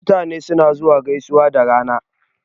Mutane na gaisuwa da rana